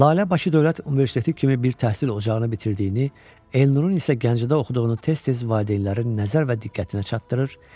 Lalə Bakı Dövlət Universiteti kimi bir təhsil ocağını bitirdiyini, Elnurun isə Gəncədə oxuduğunu tez-tez valideynlərin nəzər və diqqətinə çatdırır.